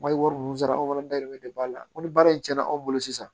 Wari wari ninnu sara anw fana dayirimɛ de b'a la ko ni baara in cɛnna anw bolo sisan